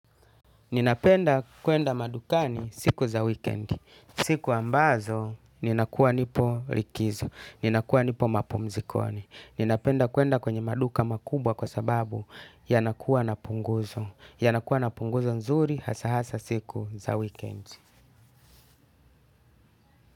Ninapenda kwenda madukani siku za weekend. Siku ambazo, ninakuwa nipo likizo. Ninakuwa nipo mapumzikoni. Ninapenda kwenda kwenye maduka makubwa kwa sababu yanakuwa na punguzo. Yanakuwa na punguzo nzuri hasaa siku za weekend.